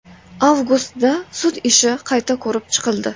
Avgustda sud ishi qayta ko‘rib chiqildi.